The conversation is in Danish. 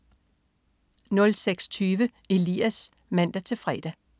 06.20 Elias (man-fre)